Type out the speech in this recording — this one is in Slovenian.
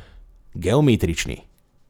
Geometrični.